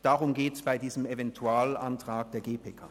Darum geht es bei diesem Eventualantrag der GPK.